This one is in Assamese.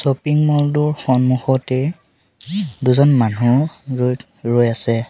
শ্বপিং মল টোৰ সন্মুখতে দুজন মানুহ ৰৈ থ ৰৈ আছে।